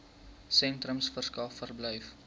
sentrums verskaf verblyf